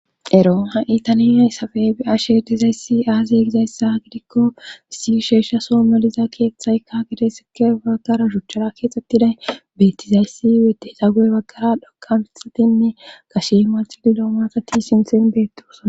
ero ha 7itaniay sabey bi ashetizayssi aaze gizayssa gidikko si sheeshsha soo meliza keeththaykka gade sike baggara shuchchara keexxettiday beettizayssi yete xa go7e baggara dhokanxatinne kashe ma xidiloo maqati sinten beettosana